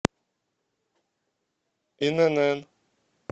инн